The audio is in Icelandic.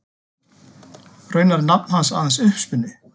Raunar er nafn hans aðeins uppspuni.